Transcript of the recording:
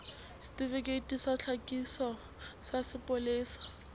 setifikeiti sa tlhakiso sa sepolesa